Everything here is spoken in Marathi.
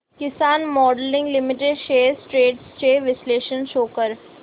किसान मोल्डिंग लिमिटेड शेअर्स ट्रेंड्स चे विश्लेषण शो कर